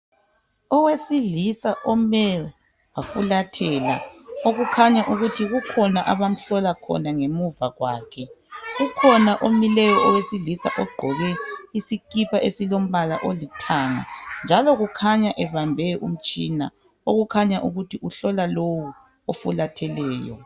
Owesilisa ome wafulathela okukhanya ukuthi kukhona abamhlola khona ngemuva kwakhe. Ukhona omileyo owesilisa ogqoke isikipa esilombala olithanga njalo kukhanya ebambe umtshina okukhanya ukuthi uhlola lowo ofulatheleyo.